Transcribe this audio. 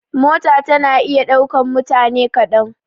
Mota tana iya ɗaukan mutane kaɗan.